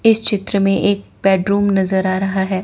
इस चित्र में एक बेडरूम नजर आ रहा है।